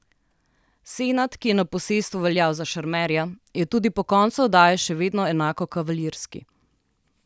Senad, ki je na posestvu veljal za šarmerja, je tudi po koncu oddaje še vedno enako kavalirski.